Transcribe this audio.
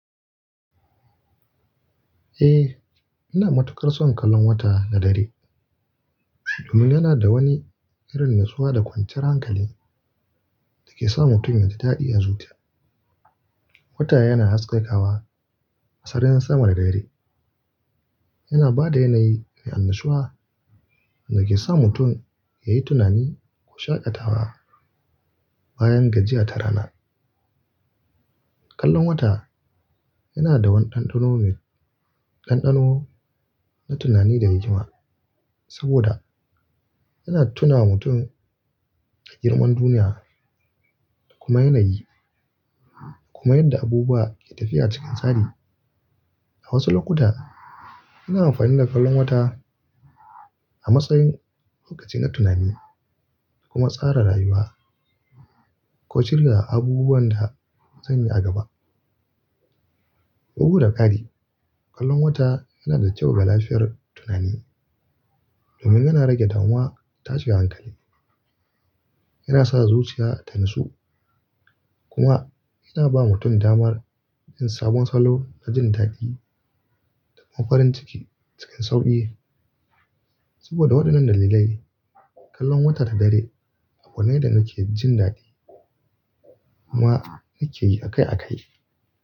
Eh, ina matukar son kallon wata na dare domin yana da wani irin natsuwa da kwanciyar hankali da ke sa mutum ya ji daɗi a zuciya. Wata yana haskakawa a sararin saman dare, yana ba da yanayi mai annashuwa da ke sa mutum ya yi tunani ko shaƙatawa bayan gajiya ta rana. Kallon wata yana da waɗannan ɗanɗano na tunani da rigima saboda yana tuna mutum da girman duniya da kuma yanayi, kuma yadda abubuwa ke tafiya cikin tsari. A wasu lokuta, ina amfani da kallon wata a matsayin lokacin yin tunani da kuma tsara rayuwa ko shirya abubuwan da zan yi a gaba. Bugu da ƙari, kallon wata yana da kyau ga lafiyar tunani domin yana rage damuwa da tashin hankali. Yana sa zuciya ta natsu kuma yana ba mutum damar yin sabon salo na jin daɗi da kuma farin ciki cikin sauƙi. Saboda waɗannan dalilai, kallon wata ta dare abu ne da nake jin daɗi kuma nake yi akai-akai.